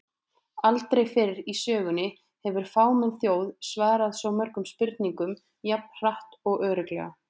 Aldrei fyrr í sögunni hefur fámenn þjóð svarað svo mörgum spurningum jafn hratt og örugglega!